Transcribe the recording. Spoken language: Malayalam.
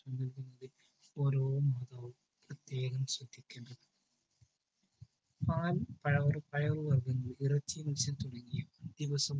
പാൽ പഴ പയറുവർഗങ്ങൾ ഇറച്ചി മത്സ്യം തുടങ്ങിയ ദിവസവും